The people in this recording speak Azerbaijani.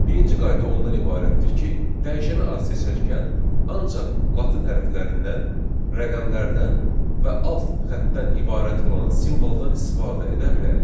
Birinci qayda ondan ibarətdir ki, dəyişənə az seçərkən ancaq latin hərflərindən, rəqəmlərdən və alt xətdən ibarət olan simvoldan istifadə edə bilərik.